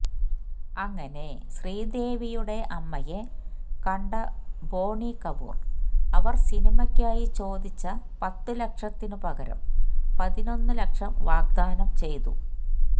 അങ്ങനെ ശ്രീദേവിയുടെ അമ്മയെ കണ്ട ബോണി കപൂര് അവര് സിനിമയ്ക്കായി ചോദിച്ച പത്തുലക്ഷത്തിനു പകരം പതിനൊന്നു ലക്ഷം വാഗ്ദാനം ചെയ്തു